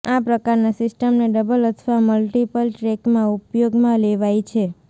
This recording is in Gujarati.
આ પ્રકારના સિસ્ટમને ડબલ અથવા મલ્ટીપલ ટ્રેકમાં ઉપયોગમાં લેવાય છે